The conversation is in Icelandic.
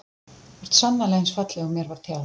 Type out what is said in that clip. Þú ert sannarlega eins falleg og mér var tjáð.